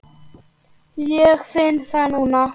Ég finn það núna.